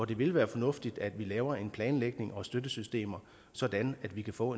det ville være fornuftigt at vi laver en planlægning og støttesystemer sådan at vi kan få